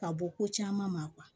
Ka bɔ ko caman ma